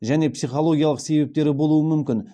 және психологиялық себептері болуы мүмкін